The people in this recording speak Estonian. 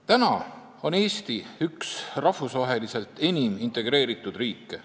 Praegu on Eesti üks rahvusvaheliselt enim integreeritud riike.